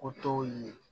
O t'o ye